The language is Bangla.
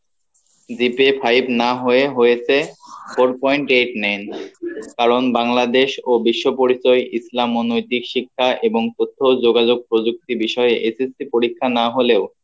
five না হয়ে হয়েছে four point eight nine কারণ বাংলাদেশ ও বিশ্ব পরিচয় ইসলাম ও নৈতিক শিক্ষায় এবং তথ্য যোগাযোগ প্রযোক্তি বিষয় SSC পরীক্ষা না হলেও